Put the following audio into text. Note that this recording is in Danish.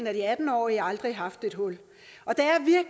af de atten årige aldrig haft et hul